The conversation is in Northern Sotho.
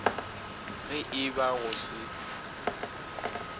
ge e ba go se